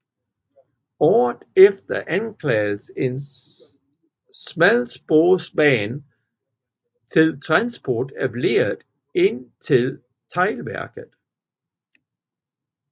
Året efter anlagdes en smalsporsbane til transport af leret ind til teglværket